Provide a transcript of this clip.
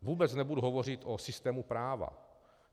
Vůbec nebudu hovořit o systému práva.